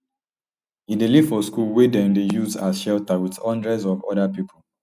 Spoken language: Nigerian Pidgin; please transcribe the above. e dey live for school wey dem dey use as shelter wit hundreds of oda pipo